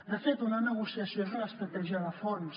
de fet una negociació és una estratègia de fons